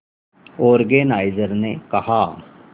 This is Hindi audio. ऑर्गेनाइजर ने कहा